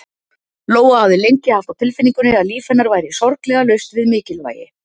Lóa hafði lengi haft á tilfinningunni að líf hennar væri sorglega laust við mikilvægi.